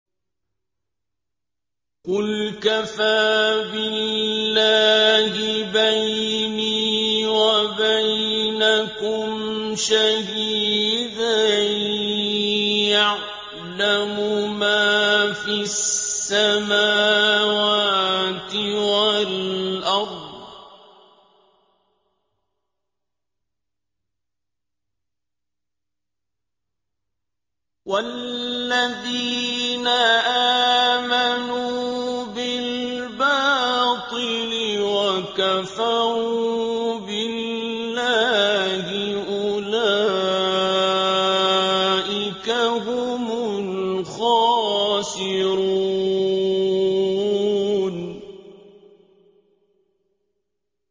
قُلْ كَفَىٰ بِاللَّهِ بَيْنِي وَبَيْنَكُمْ شَهِيدًا ۖ يَعْلَمُ مَا فِي السَّمَاوَاتِ وَالْأَرْضِ ۗ وَالَّذِينَ آمَنُوا بِالْبَاطِلِ وَكَفَرُوا بِاللَّهِ أُولَٰئِكَ هُمُ الْخَاسِرُونَ